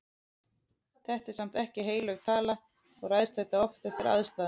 Þetta er samt ekki heilög tala og ræðst þetta oft eftir aðstæðum.